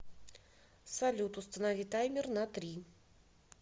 салют установи таймер на три